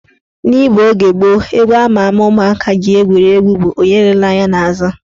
N'Igbo oge gboo, egwu ama ama ụmụaka ji egwuri egwu bụ " Onye elela anya n' azụ"